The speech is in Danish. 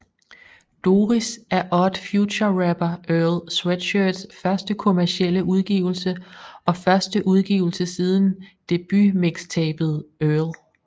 Doris er Odd Future rapper Earl Sweatshirts første kommercielle udgivelse og første udgivelse siden debut mixtapet Earl